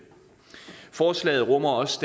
forslaget rummer også